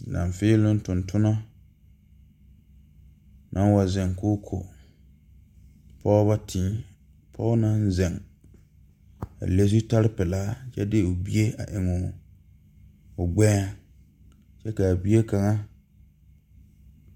Laafēēloŋ tontonɔ naŋ wa zeŋ koo ko pɔɔbɔ tēē pɔɔ naŋ zeŋ a le zutare pilaa kyɛ de o bie a eŋ o gbɛɛŋ kyɛ kaa bie kaŋa.